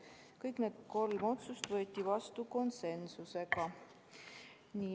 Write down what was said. Kõik need kolm otsust võeti vastu konsensusega.